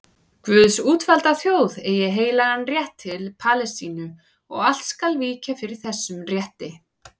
Guðs útvalda þjóð eigi heilagan rétt til Palestínu og allt skal víkja fyrir þessum rétti.